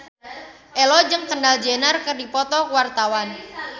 Ello jeung Kendall Jenner keur dipoto ku wartawan